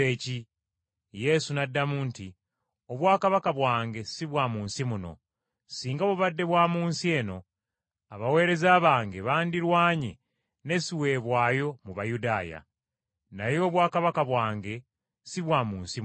Yesu n’addamu nti, “Obwakabaka bwange si bwa mu nsi muno. Singa bubadde bwa mu nsi eno abaweereza bange bandirwanye ne siweebwayo mu Bayudaaya. Naye obwakabaka bwange si bwa mu nsi muno.”